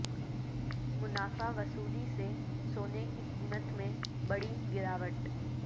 منافع وصولی سے سونے کی قیمت میں بڑی گراوٹ